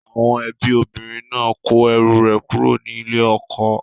Àwọn ẹbí obìnrin náà kó ẹrù rẹ̀ kúrò ní ilé ọkọ rẹ̀